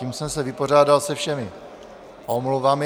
Tím jsem se vypořádal se všemi omluvami.